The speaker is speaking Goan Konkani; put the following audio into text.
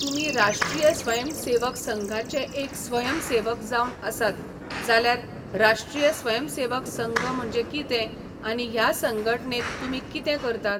तुमी राष्ट्रीय स्वयं सेवक संघाचे एक स्वयम सेवक जावन आसात जाल्यार राष्ट्रीय स्वय सेवक संघ म्हणजें कितें आनी ह्या संघटनेंत तुमी कितें करतात